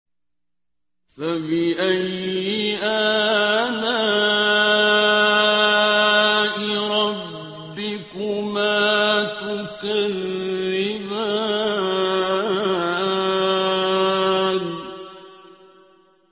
فَبِأَيِّ آلَاءِ رَبِّكُمَا تُكَذِّبَانِ